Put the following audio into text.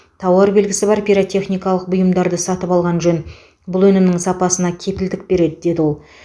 тауар белгісі бар пиротехникалық бұйымдарды сатып алған жөн бұл өнімнің сапасына кепілдік береді деді ол